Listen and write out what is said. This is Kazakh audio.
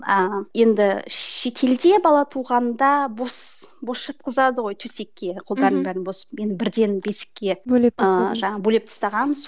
ыыы енді шетелде бала туғанда бос бос жатқызады ғой төсекке қолдарын бәрін бос мен бірден бесікке ыыы бөлеп тастағанбыз